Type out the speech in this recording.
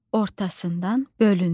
Ortasından bölündü.